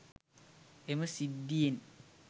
එම සිද්ධියෙන්